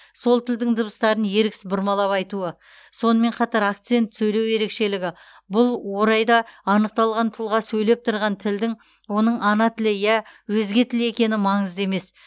сол тілдің дыбыстарын еріксіз бұрмалап айтуы сонымен қатар акцент сөйлеу ерекшелігі бұл орайда анықталған тұлға сөйлеп тұрған тілдің оның ана тілі я өзге тіл екені маңызды емес